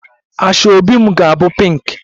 Asoebi m ga-abụ pinki